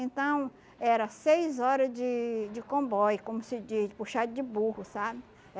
Então, era seis horas de de comboio, como se diz, de puxada de burro, sabe?